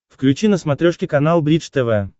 включи на смотрешке канал бридж тв